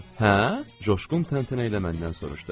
Hə, Coşqun təntənə ilə məndən soruşdu.